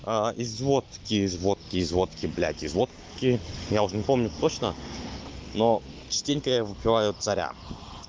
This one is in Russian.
из водки из водки из водки блядь из водки я уже не помню точно но частенько я выпиваю царя